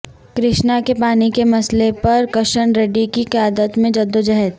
کرشنا کے پانی کے مسئلہ پر کشن ریڈی کی قیادت میں جدوجہد